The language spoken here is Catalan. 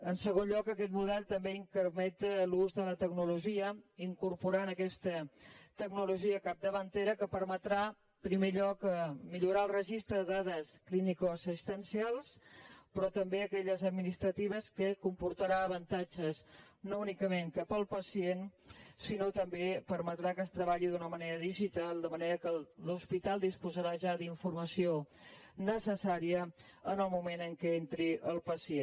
en segon lloc aquest model també incrementa l’ús de la tecnologia incorporant aquesta tecnologia capdavantera que permetrà en primer lloc millorar el registre de dades clíniques assistencials però també aquelles administratives que comportarà avantatges no únicament cap al pacient sinó que també permetrà que es treballi d’una manera digital de manera que l’hospital disposarà ja d’informació necessària en el moment en què entri el pacient